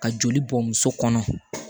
Ka joli bɔ muso kɔnɔ